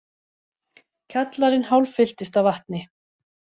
Kjallarinn hálffylltist af vatni